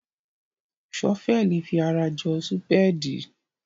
Ṣọ́fẹ́ẹ̀lì fi ara jọ súpéèdì.